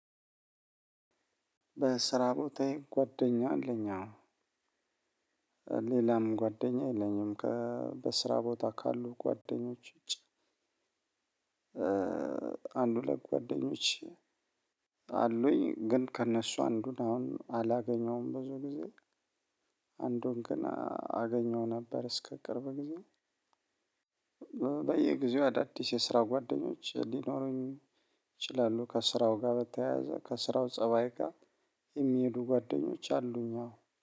በስራ ቦታዬ ጓደኛ አለኝ አዎ። ሌላም ጓደኛ የለኝም ከበስራ ቦታ ካሉ ጓደኞች ውጪ። አንድ ሁለት ጓደኞች አሉኝ። ግን ከእነሱ አንዱን አሁን አላገኘውም ብዙ ጊዜ። አንዱን ገን አገኘው ነበር እስከ ቅርብ ጊዜ። በየጊዜው አዳዲስ የስራው ጓደኞች ሊኖሩኝ ይችላሉ። ከስራው ጋር በተያያዘ ከስራው ፀባይ ጋር የሚሄዱ ጓደኞች አሉኝ አዎ